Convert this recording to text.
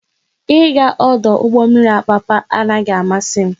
Ị ga ọdụ ụgbọ mmiri Apapa anaghị amasị m